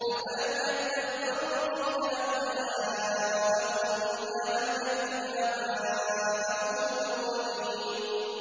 أَفَلَمْ يَدَّبَّرُوا الْقَوْلَ أَمْ جَاءَهُم مَّا لَمْ يَأْتِ آبَاءَهُمُ الْأَوَّلِينَ